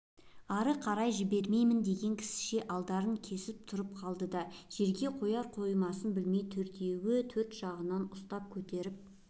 ары қарай жібермеймін деген кісіше алдарын кесіп тұра қалды да жерге қояр-қоймасын білмей төртеуі төрт жағынан ұстап көтеріп